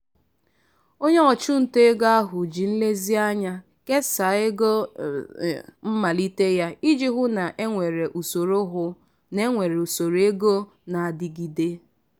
onye ọchụnta ego ahụ ji nlezianya kesaa ego mmalite ya iji hụ na-enwere usoro hụ na-enwere usoro ego na-adịgide.